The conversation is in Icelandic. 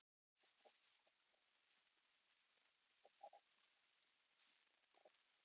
En hvernig skynjar fyrrverandi sparisjóðsstjóri ástandið fyrir sunnan?